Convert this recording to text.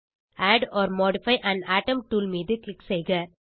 add or modify an atom tool மீது click செய்க